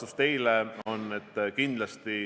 Aitäh teile selle küsimuse eest!